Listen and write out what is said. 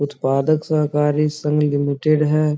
उत्पादक सहकारी संग लिमिटेड है ।